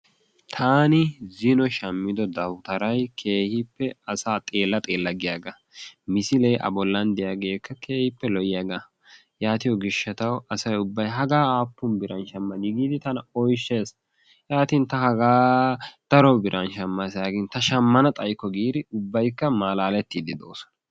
Taani zino shammido dawutaray keehiippe asaabxeella xeella giyaagaa misilee a bollan de'iyaageekka keehiippe lo'iyaagaa yaattiyo gishshatawu asay tana hagaa aappun biran shammadii giidi tana oychees. yaatin ta hagaa daro biraan shammaasi yaagin ta shammana xayikko giidi ubbaykka maalaalettidi doosona.